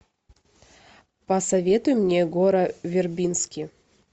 посоветуй мне гора вербински